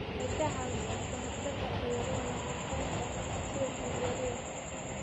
Waxay ka caawisaa ka hortagga cudurrada nafaqeynta sida dhiig-yarida.